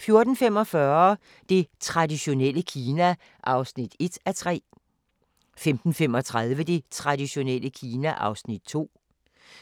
14:45: Det traditionelle Kina (1:3) 15:35: Det traditionelle Kina (2:3)